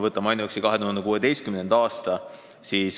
Võtame ainuüksi 2016. aasta.